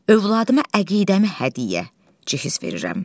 Övladıma əqidəmi hədiyyə, cehiz verirəm.